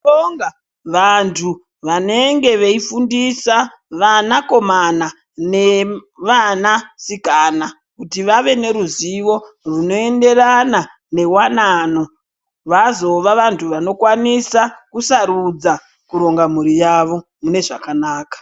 Tinobonga vanthu vanenge veifundisa vanakomana nevanasikana kuti vave neruzivo runoenderana newanano kuti vazova vanthu vanokwanisa kuronga mbhuri yavo munezvakanaka.